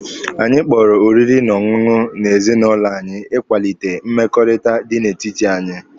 Anyị kpọrọ oriri na ọṅụṅụ n'ezinụlọ anyị ịkwalite mmekọrịta dị n'etiti anyị.